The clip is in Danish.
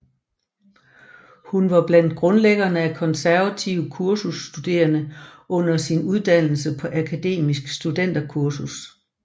Hun var blandt grundlæggerne af Konservative Kursus Studerende under sin uddannelse på Akademisk Studenterkursus